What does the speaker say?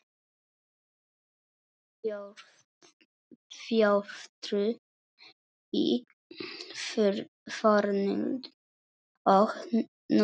Þjóðtrú í fornöld og nútíð